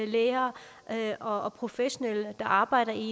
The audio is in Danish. læger og professionelle der arbejder i